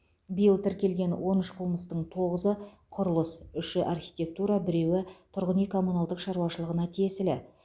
биыл тіркелген он үш қылмыстың тоғызы құрылыс үшеуі архитектура біреуі тұрғын үй коммуналдық шаруашылығына тиесілі